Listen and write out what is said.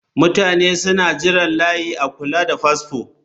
Mutane suna jiran layi a kula da fasfo